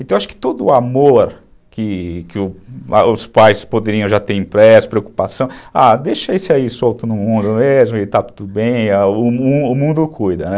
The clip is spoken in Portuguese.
Então, eu acho que todo o amor que que os pais poderiam já ter impresso, preocupação, ah, deixa esse aí solto no mundo mesmo, ele está tudo bem, o mundo cuida, né?